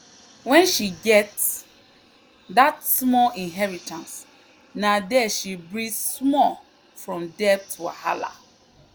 when she get that small inheritance na there she breathe small from debt wahala.